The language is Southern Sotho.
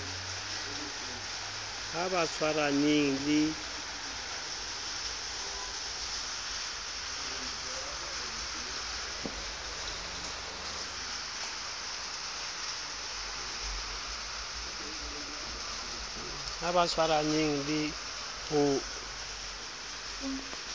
ha ba tshwaraneng le ho